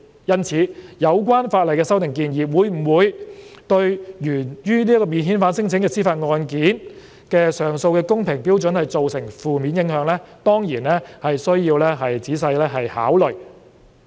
因此，有關法例的修訂建議會否對源於免遣返聲請的司法覆核案件的上訴的公平標準造成負面影響，當然需要仔細考慮。